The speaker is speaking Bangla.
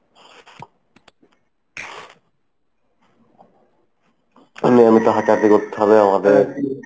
নিয়মিত হাঁটা হাঁটি করতে হবে আমাদের।